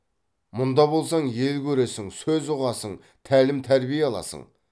мұнда болсаң ел көресің сөз ұғасың тәлім тәрбие аласын